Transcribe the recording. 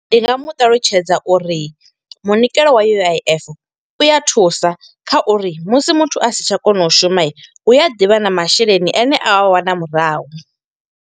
Ndi nga mu ṱalutshedza uri munikelo wa U_I_F u ya thusa, kha uri musi muthu a si tsha kona u shuma. Hu a ḓivha na masheleni ane a a wana murahu.